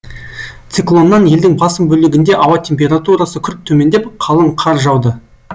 циклоннан елдің басым бөлігінде ауа температурасы күрт төмендеп қалың қар жауды